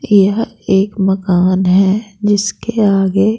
यह एक मकान है जिसके आगे--